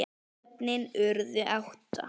Börnin urðu átta.